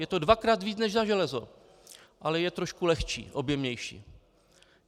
Je to dvakrát víc než za železo, ale je trošku lehčí, objemnější.